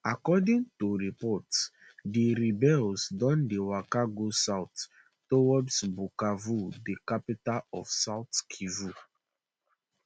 according to reports di rebels don dey waka go south towards bukavu di capital of south kivu